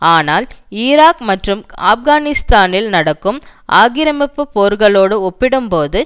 ஆனால் ஈராக் மற்றும் ஆப்கானிஸ்தானில் நடக்கும் ஆக்கிரமிப்பு போர்களோடு ஒப்பிடும் போது